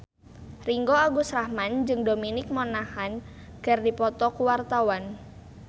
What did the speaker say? Ringgo Agus Rahman jeung Dominic Monaghan keur dipoto ku wartawan